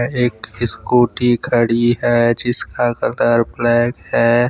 एक स्कूटी खड़ी है जिसका कलर ब्लैक है।